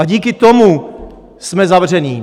A díky tomu jsme zavření.